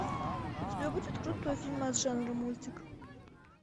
у тебя будет крутой фильмас жанра мультик